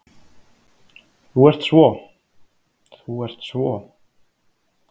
Þú ert svo. þú ert svo.